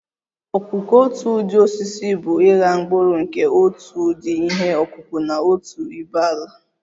ọkụkụ otu ụdi osisi bụ ịgha mkpụrụ nke otu ụdị ihe ọkụkụ na otu ibé ala